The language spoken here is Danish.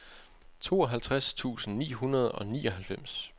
tooghalvtreds tusind ni hundrede og nioghalvfems